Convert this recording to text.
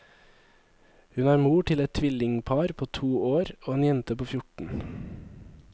Hun er mor til et tvillingpar på to år, og en jente på fjorten.